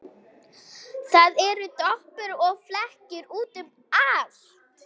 Það eru doppur og flekkir út um allt.